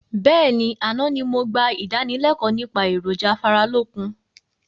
Bẹ́ẹ̀ni, àná ni mo gbà ìdánilẹ̀kọ̀ nípa èròjà afáralókun